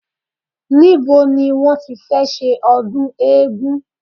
Nibo ni wọ́n tí fẹ́ ṣe ọdún eégún